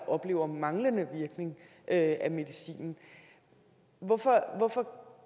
oplever manglende virkning af medicinen hvorfor